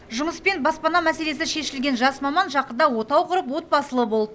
жұмыс пен баспана мәселесі шешілген жас маман жақында отау құрып отбасылы болыпты